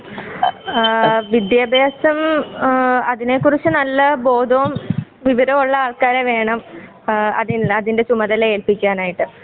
ആ വിട്ട്യാഭ്യാസം ആ അതിനെ കുറിച്ച് നല്ല ബോധവും വിവരവും ഉള്ള ആൾക്കാരെ വേണം ആ അതിന്റെ ചുമതല ഏൽപിക്കാനായിട്ട്